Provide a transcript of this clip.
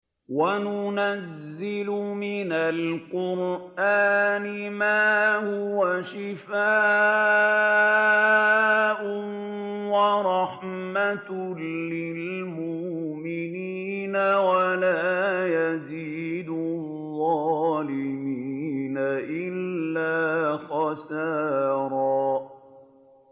وَنُنَزِّلُ مِنَ الْقُرْآنِ مَا هُوَ شِفَاءٌ وَرَحْمَةٌ لِّلْمُؤْمِنِينَ ۙ وَلَا يَزِيدُ الظَّالِمِينَ إِلَّا خَسَارًا